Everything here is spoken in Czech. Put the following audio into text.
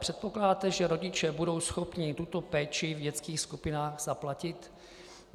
Předpokládáte, že rodiče budou schopni tuto péči v dětských skupinách zaplatit?